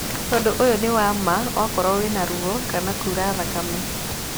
Ũndũ ũyũ nĩ wa ma okorwo wĩna ruo kana kura thakame.